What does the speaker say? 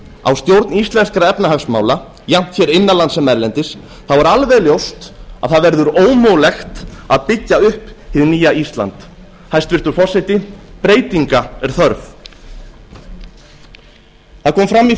á stjórn íslenskra efnahagsmála jafnt hér innan lands sem erlendis er alveg ljóst að það verður ómögulegt að byggja upp hið nýja ísland hæstvirtur forseti breytinga er þörf það kom fram í